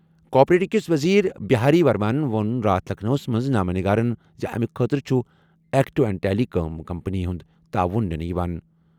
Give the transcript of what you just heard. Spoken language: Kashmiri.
کوآپریٹو کِس وزیرِ بہاری ورماہن ووٚن راتھ لکھنؤَس منٛز نامہ نِگارن زِ اَمہِ خٲطرٕ چھُ eco and telecom company ہُنٛد تعاون نِنہٕ یِوان۔